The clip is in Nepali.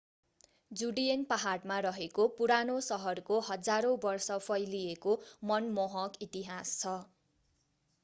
जुडियन पहाडमा रहेको पुरानो सहरको हजारौं वर्ष फैलिएको मनमोहक इतिहास छ